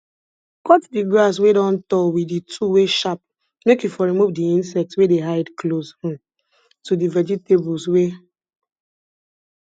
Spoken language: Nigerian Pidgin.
cut di grass wey don tall wit di tool wey sharp make you for remove di insects wey dey hide close um to di vegetables wey